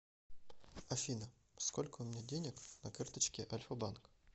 афина сколько у меня денег на карточке альфабанк